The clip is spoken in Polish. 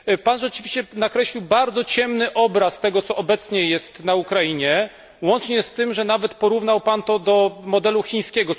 Pan rzeczywiście nakreślił bardzo ciemny obraz tego, co obecnie jest na Ukrainie, łącznie z tym, że nawet porównał Pan to do modelu chińskiego.